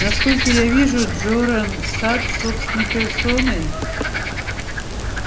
насколько я вижу джоран сатт собственной персоной